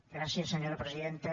gràcies senyora presidenta